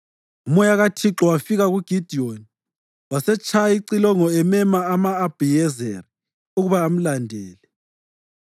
Umoya kaThixo wafika kuGidiyoni, wasetshaya icilongo emema ama-Abhiyezeri ukuba amlandele.